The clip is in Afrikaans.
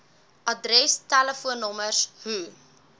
adres telefoonnommers hoe